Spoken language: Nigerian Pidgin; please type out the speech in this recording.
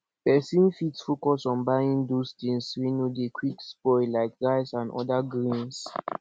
person fit focus on buying those things wey no dey quick spoil like rice and oda grains